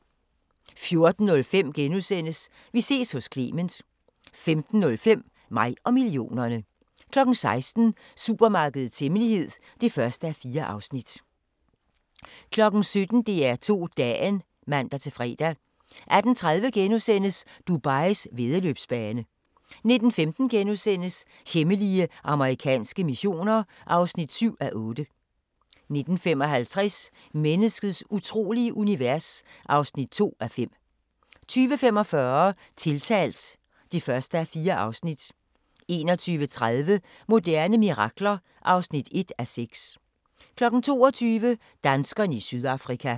14:05: Vi ses hos Clement * 15:05: Mig og millionerne 16:00: Supermarkedets hemmelighed (1:4) 17:00: DR2 Dagen (man-fre) 18:30: Dubais væddeløbsbane * 19:15: Hemmelige amerikanske missioner (7:8)* 19:55: Menneskets utrolige univers (2:5) 20:45: Tiltalt (1:4) 21:30: Moderne mirakler (1:6) 22:00: Danskerne i Sydafrika